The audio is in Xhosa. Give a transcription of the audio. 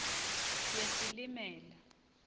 yesilimela